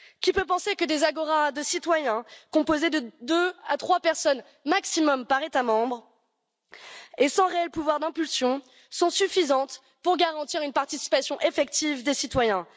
Qui peut penser que des agoras de citoyens, composées de deux à trois personnes maximum par État membre et sans réel pouvoir d'impulsion sont suffisantes pour garantir une participation effective des citoyens?